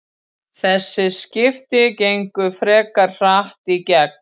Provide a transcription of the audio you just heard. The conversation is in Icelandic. Þessi skipti gengu frekar hratt í gegn.